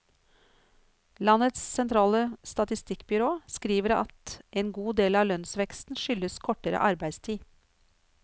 Landets sentrale statistikkbyrå skriver at en god del av lønnsveksten skyldes kortere arbeidstid.